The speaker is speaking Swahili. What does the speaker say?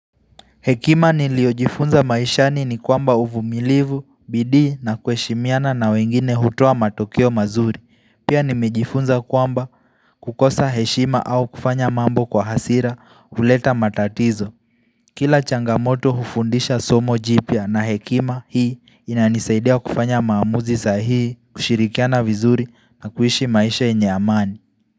Hekima niliyojifunza maishani ni kwamba uvumilivu, bidii na kuheshimiana na wengine hutoa matokeo mazuri. Pia nimejifunza kwamba kukosa heshima au kufanya mambo kwa hasira huleta matatizo. Kila changamoto hufundisha somo jipya na hekima hii inanisaidia kufanya maamuzi sahi, kushirikiana vizuri na kuishi maisha yenye amani.